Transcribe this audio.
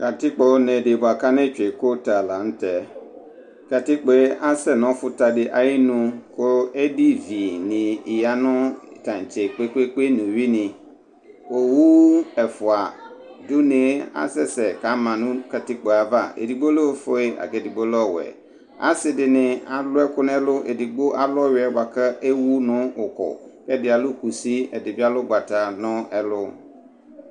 katikpo ne di bʋa kane tsʋe kota la nu tɛ, katikpoe asɛ nɔfuta di ayi nu ku edi vi ni ya nu tantse kpekpekpe nu uwui ni , owuu ɛfʋa du ne asɛsɛ kama nu katikpoe ava, edigbo lɛ ofue laku edigbo lɛ ɔwɛ, asi dini aluɛku nɛlu , edigbo alu ɔwʋiɛ bʋa ku ewu nu ɔku , kɛdi alu kusi ɛdini bi alu ugbata nu ɛlu